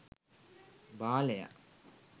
බාලයා